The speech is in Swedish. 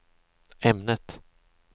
ämnet